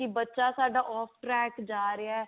ਕੀ ਬੱਚਾ ਸਾਡਾ off track ਜਾ ਰਿਹਾ